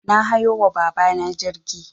Na hayo wa baba na jirgi